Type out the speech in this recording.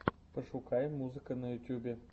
пошукай музыка на ютюбе